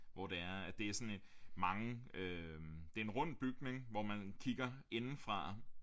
Hvor det er det er sådan et mange øh det er en rund bygning hvor man kigger indefra